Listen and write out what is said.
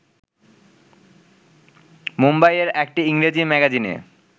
মুম্বাই-এর একটি ইংরেজি ম্যাগাজিনে